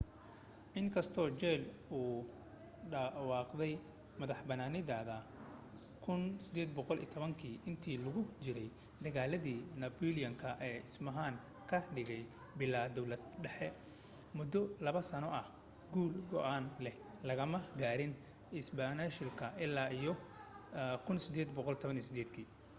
in kastoo jayl ku dhawaaqday madaxbanaanideeda 1810 intii lagu jiray dagaaladii nabooliyan ee isbayn ka dhigay bilaa dawlad dhexe muddo laba sano ah guul go’aan leh lagama gaarin isbaanishka illaa iyo 1818